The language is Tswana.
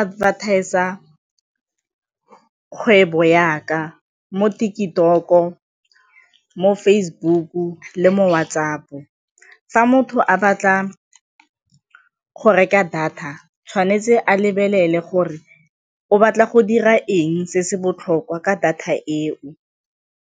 advertiser kgwebo ya ka mo TikTok-o, mo Facebook-o le mo WhatsApp-ong. Fa motho a batla go reka data tshwanetse a lebelele gore o batla go dira eng se se botlhokwa ka data eo.